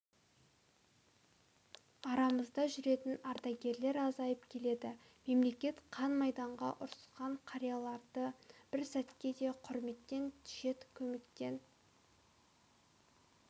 арамызда жүретін ардагерлер азайып келеді мемлекет қан майданда ұрысқан қарияларды бір сәтке де құрметтен шет көмектен